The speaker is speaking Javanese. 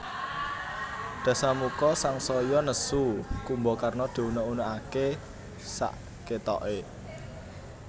Dasamuka sangsaya nesu Kumbakarna diunèk unèkaké sakatoké